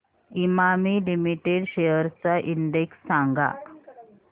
Emami limited shares चा index सांगा